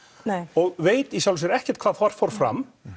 og veit í sjálfu sér ekkert hvað þar fór fram